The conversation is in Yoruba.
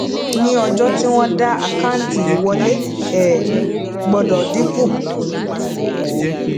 ní ọjọ tí wọn daá àkáǹtí ìwọlé um gbọdọ dínkù